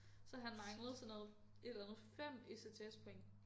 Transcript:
Så han manglede sådan noget et eller andet 5 ECTS point